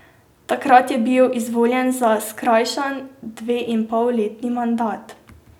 Takrat je bil izvoljen za skrajšan, dveinpolletni mandat.